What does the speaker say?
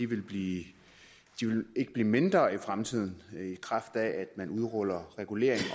vil blive mindre i fremtiden i kraft af at man udruller regulering